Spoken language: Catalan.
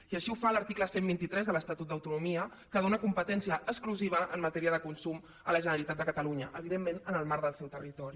i així ho fa l’article cent i vint tres de l’estatut d’autonomia que dóna competència exclusiva en matèria de consum a la generalitat de catalunya evidentment en el marc del seu territori